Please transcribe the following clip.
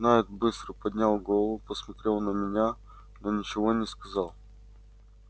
найд быстро поднял голову посмотрел на меня но ничего не сказал